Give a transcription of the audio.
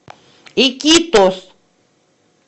икитос